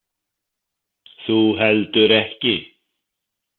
Þú heldur ekki.